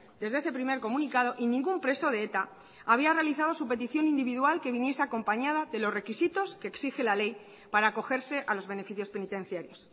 desde ese primer comunicado y ningún preso de eta había realizado su petición individual que viniese acompañada de los requisitos que exige la ley para acogerse a los beneficios penitenciarios